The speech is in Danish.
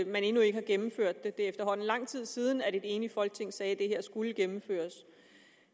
man endnu ikke har gennemført det det er efterhånden lang tid siden et enigt folketing sagde at det her skulle gennemføres